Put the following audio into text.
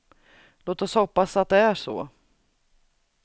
Låt oss hoppas att det är så.